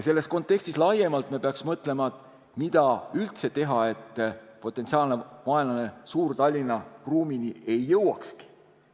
Selles kontekstis me peaks laiemalt mõtlema, mida üldse teha, et potentsiaalne vaenlane Suur-Tallinna ruumini ei jõuakski.